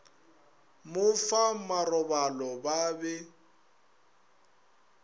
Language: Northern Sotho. mo fa marobalo ba be